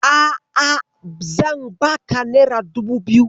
A'a, zan baka nera dubu biyu.